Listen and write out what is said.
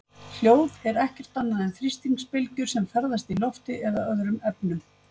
hljóð er ekkert annað en þrýstingsbylgjur sem ferðast í lofti eða öðrum efnum